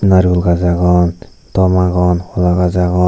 narigul gaj agon tom agon hola gaj agon.